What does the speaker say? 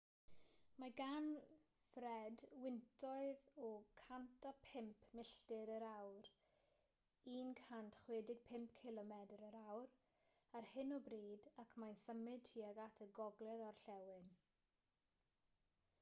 mae gan fred wyntoedd o 105 milltir yr awr 165 cilomedr yr awr ar hyn o bryd ac mae'n symud tuag at y gogledd-orllewin